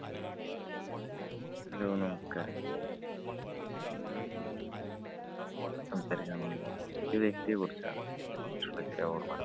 hello നമസ്കാരം, ഞാനിന്ന് സംസാരിക്കാന്‍ പോകുന്നത് ഒരു വ്യക്തിയെ കുറിച്ചാണ്. വ്യക്തിയെ കുറിച്ചുള്ള ചില ഓര്‍മ്മകളാണ്.